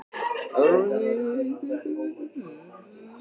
Það var komin niðadimm þoka svo varla sá handaskil.